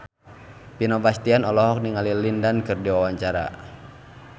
Vino Bastian olohok ningali Lin Dan keur diwawancara